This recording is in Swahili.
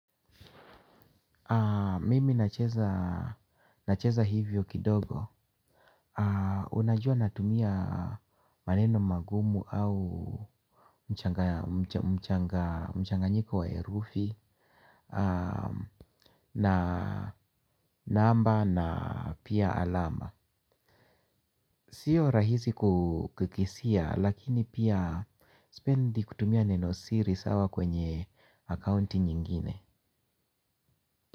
Mimi nacheza hivyo kidogo. Unajua natumia maneno magumu au mchanganyiko wa herufi, na namba na pia alama. Sio rahisi kukisia lakini pia sipendi kutumia neno siri sawa kwenye akaunti nyingine.